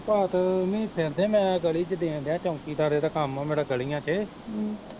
ਭਾਂਤ ਨੀ ਫਿਰਨਦੇ, ਮੈਂ ਗਲੀ ਚ ਦੇਣ ਡਿਆ ਚੌਂਕੀਦਾਰੇ ਦਾ ਕੰਮ ਆ ਮੇਰੇ ਗਲੀਆਂ ਚ ਹਮ